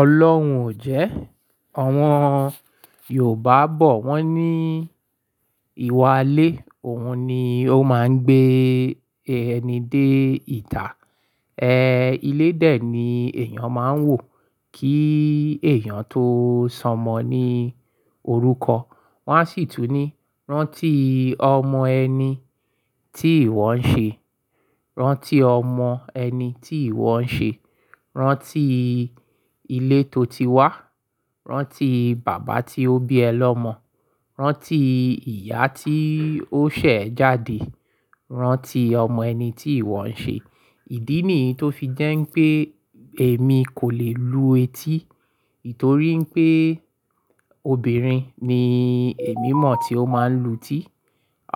Ọlọ́hun ò jẹ́. Àwọn Yorùbá bọ̀ wọ́n ní ìwà lé, òun ni ó máa ń gbé ẹni dé ìta. E, ilé dè ni èèyàn máa ń wò kí èèyàn tó sọmọ ní orúkọ. Wọ́n sì tún ní, rántí ọmọ ẹni tí ìwọ ń ṣe, rántí ọmọ ẹni tí ìwọ ń ṣe, rántí ilé tó ti wá, rántí bàbá tí ó bí ẹ lọ́mọ, rántí ìyá tí ó ṣẹ̀ jáde, rántí ọmọ ẹni tí ìwọ ń ṣe. Ìdí nì tó fi jẹ́ pé èmi kò lè lu etí, itorí pé obìnrin ni èmi mọ̀ tí ó máa ń lu tí.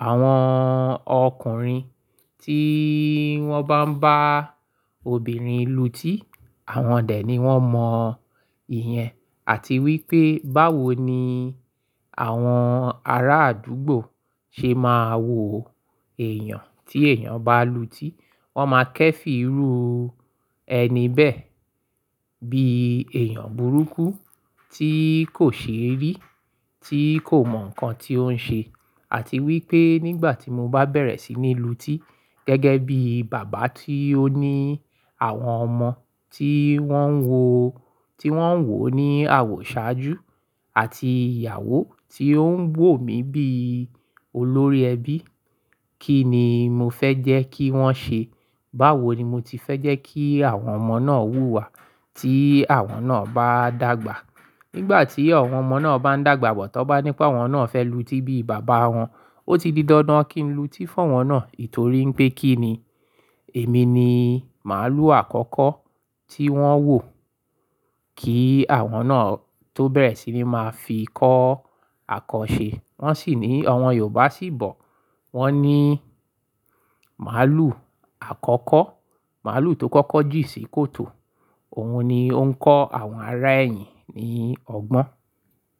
Àwọn ọkùnrin tí wọ́n bá ń bá obìnrin lu tí, àwọn dè ni wọ́n mọ ìyẹn. Àti wípé báwo ni àwọn ará àdúgbò ṣe máa wò èèyàn tí èèyàn bá lu tí. Wọ́n máa kẹ́ fí rú ẹni bẹ́ẹ̀ bí èèyàn burúkú tí kò ṣe rí, tí kò mọ nǹkan tí ó ń ṣe. Àti wípé nígbà tí mo bá bẹ̀rẹ̀ sí ní lu tí gẹ́gẹ́ bí bàbá tí ó ní àwọn ọmọ tí wọ́n wò, tí wọ́n wò ní àwọ̀ ṣáájú àti ìyàwó tí ó ń wò mi bí olórí ẹbí, kí ni mo fẹ́ jẹ́ kí wọ́n ṣe? Báwo ni mo ti fẹ́ jẹ́ kí àwọn ọmọ náà wù wá tí àwọn náà bá dàgbà? Nígbà tí àwọn ọmọ náà bá ń dàgbà, bọ̀ tọ́ bá ní pé àwọn náà fẹ́ lu tí bí bàbá wọn, ó ti di dandan kí lu tí fún wọn náà. Itorí pé kí ni èmi ni màálù àkọ́kọ́ tí wọ́n wò kí àwọn náà tó bẹ̀rẹ̀ sí ní máa fi kọ́ àkọ́ ṣe. Wọ́n sì ní àwọn Yorùbá sì bọ̀, wọ́n ní màálù àkọ́kọ́, màálù tó kọ́kọ́ jì sí kòtò, òun ni ó ń kọ́ àwọn ará ẹyìn ní ọgbọ́n.